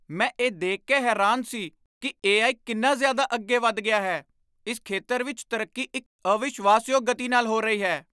ਮੈਂ ਇਹ ਦੇਖ ਕੇ ਹੈਰਾਨ ਸੀ ਕਿ ਏ.ਆਈ. ਕਿੰਨਾ ਜ਼ਿਆਦਾ ਅੱਗੇ ਵਧ ਗਿਆ ਹੈ। ਇਸ ਖੇਤਰ ਵਿੱਚ ਤਰੱਕੀ ਇੱਕ ਅਵਿਸ਼ਵਾਸ਼ਯੋਗ ਗਤੀ ਨਾਲ ਹੋ ਰਹੀ ਹੈ।